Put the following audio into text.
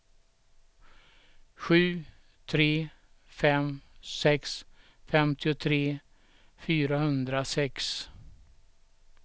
sju tre fem sex femtiotre fyrahundrasex